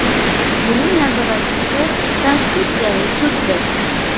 Buning nazoratchisi Konstitutsiyaviy suddir.